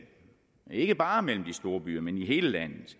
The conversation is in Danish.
ikke bare mellem de store byer men i hele landet